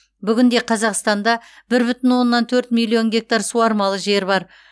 бүгінде қазақстанда бір бүтін оннан төрт миллион гектар суармалы жер бар